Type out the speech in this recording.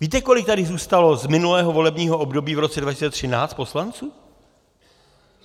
Víte, kolik tady zůstalo z minulého volebního období v roce 2013 poslanců?